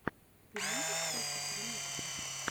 ты можешь включить ремиксы